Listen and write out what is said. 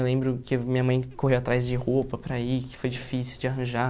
Eu lembro que minha mãe corria atrás de roupa para ir, que foi difícil de arranjar.